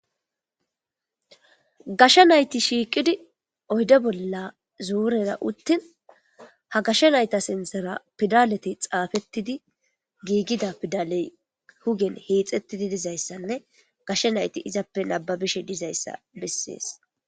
gashsha nayti shiiqidi oyde bolla zuurera uttin ha gasha nayta sintera pidalete xaafettidi giigida pidaley hugen hiixettidi dizayssanne gashsha nayti izappe nababishe dizayssa bessees.